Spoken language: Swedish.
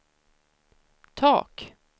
tak